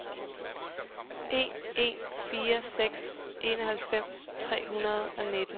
en en fire seks enoghalvfems tre hundrede og nitten